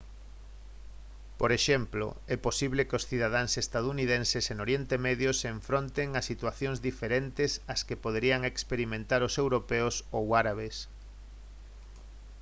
por exemplo é posible que os cidadáns estadounidenses en oriente medio se enfronten a situacións diferentes as que poderían experimentar os europeos ou árabes